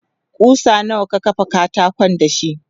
kusa nawa ka kafa katakon dashi?